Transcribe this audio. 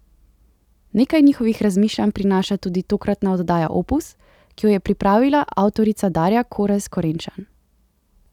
Nekaj njihovih razmišljanj prinaša tudi tokratna oddaja Opus, ki jo je pripravila avtorica Darja Korez Korenčan.